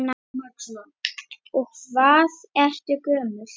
Og hvað ertu gömul?